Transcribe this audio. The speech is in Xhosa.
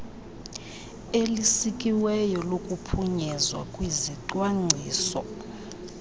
elisikiweyo lokuphunyezwa kwezicwangciso